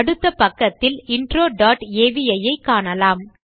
அடுத்த பக்கத்தில் intro dot avi ஐ காணலாம்